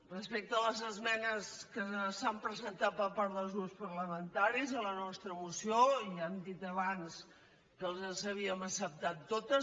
respecte a les esmenes que s’han presentat per part dels grups parlamentaris a la nostra moció ja hem dit abans que les havíem acceptat totes